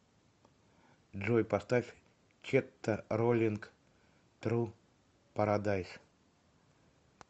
джой поставь четта роллинг тру парадайс